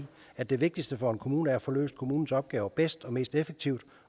at det vigtigste for en kommune er at få løst kommunens opgaver bedst og mest effektivt